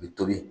U bɛ tobi